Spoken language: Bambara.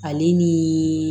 Ale ni